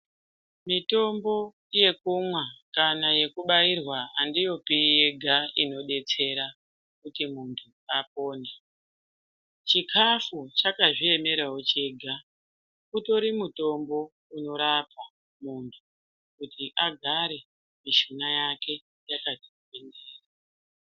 Mitombo yekumwa kana yekubvairwa andiyopi andiyopi yega inodetsera kuti munhu apore chikafu chakazviemerawo chega utori mutombo unorapa munhu kuti agare mishuna yake yakati gwindiri